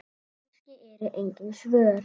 Kannski eru engin svör.